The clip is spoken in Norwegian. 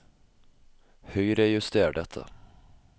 Høyrejuster dette